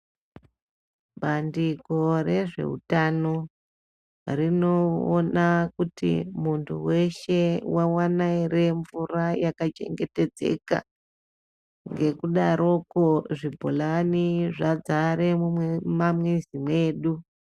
Bandiko rezveutano rinoona kuti muntu weshe waona ere mvura yakachengetedzeka ngekudarokwo zvibholani zvazare mumamuzi mwedu.